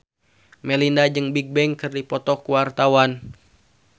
Melinda jeung Bigbang keur dipoto ku wartawan